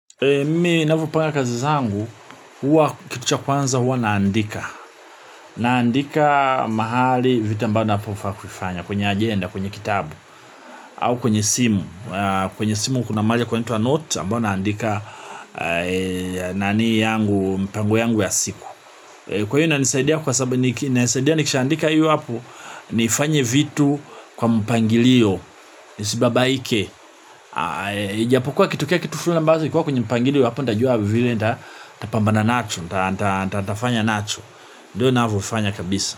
Mimi navopanga kazi zangu, huwa kitu cha kwanza huwa naandika. Naandika mahali vitu ambavyo nafaa kufanya kwenye agenda, kwenye kitabu au kwenye simu, kwenye simu kuna mahali kwenye inaitwa note ambayo naandika nani yangu, mpango yangu ya siku. Kwa hiyo inanisaidia kwa sababu, nisaidia nikishaandika hiyo hapo. Nifanye vitu kwa mpangilio, nisibabaike ijapokuwa akitkea kitu fulani ambayo hikuwa kwenye mpangilio hapo nitajua. Vile nitapambana nacho. Nitafanya nacho. Ndio navyofanya kabisa.